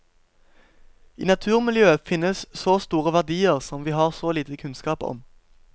I naturmiljøet finnes så store verdier som vi har så lite kunnskaper om.